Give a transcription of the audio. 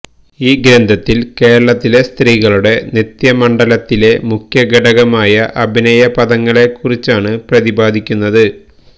ഈ ഗ്രന്ഥത്തില് കേരളത്തിലെ സ്ത്രീകളുടെ നൃത്യമണ്ഡലത്തിലെ മുഖ്യഘടകമായ അഭിനയപദങ്ങളെ കുറിച്ചാണ് പ്രതിപാദിക്കുന്നത്